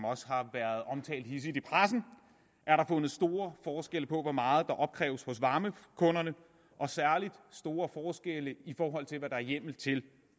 også har været omtalt hidsigt i pressen er der fundet store forskelle på hvor meget der opkræves hos varmekunderne og særlig store forskelle i forhold til hvad der er hjemmel til